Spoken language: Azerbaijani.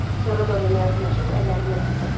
Sonra Doriana yaxınlaşıb əllərindən tutdu.